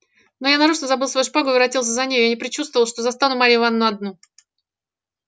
но я нарочно забыл свою шпагу и воротился за нею я предчувствовал что застану марью ивановну одну